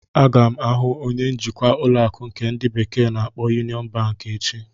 Aga m ahụ onye njikwa ụlọ akụ nke ndi bekee na-akpo Yunion Banki echi.